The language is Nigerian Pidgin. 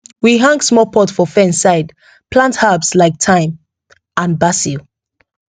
we hang small pot for fence side plant herbs like thyme and basil